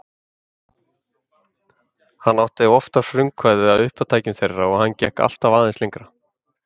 Hann átti oftar frumkvæðið að uppátækjum þeirra og hann gekk alltaf aðeins lengra.